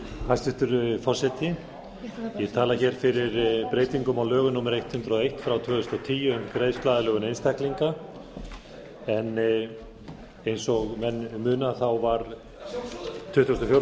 hæstvirtur forseti ég tala hér fyrir breytingum á lögum númer hundrað og eitt tvö þúsund og tíu um greiðsluaðlögun einstaklinga eins og menn muna voru tuttugasta og fjórða